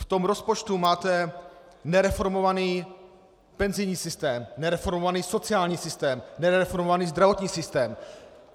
V tom rozpočtu máte nereformovaný penzijní systém, nereformovaný sociální systém, nereformovaný zdravotní systém.